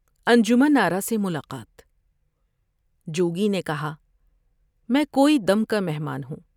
انجمن آرا سے ملاقات جوگی نے کہا ۔" میں کوئی دم کا مہمان ہوں ۔